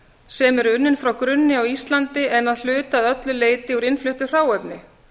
sem eru unnin frá grunni á íslandi en að hluta eða öllu leyti úr innfluttu hráefni